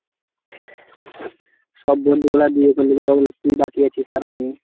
সব বন্ধু গুলা বিয়ে করল কেবল তুই বাকি আছিস আর আমি।